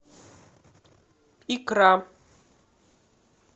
икра